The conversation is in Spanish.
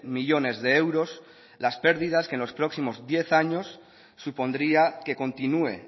millónes de euros las pérdidas que en los próximos diez años supondría que continúe